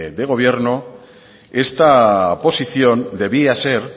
de gobierno esta posición debía ser